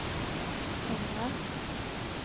pengar